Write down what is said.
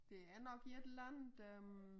Det er nok et eller andet øh